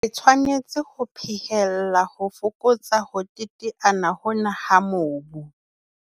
Re tshwanetse ho phehella ho fokotsa ho teteana hona ha mobu.